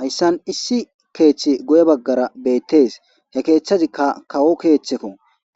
hayssan issi keeththi goye baggara bettes he keeththazikka kawo keeththekko